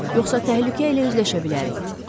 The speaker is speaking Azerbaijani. Yoxsa təhlükə ilə üzləşə bilərik.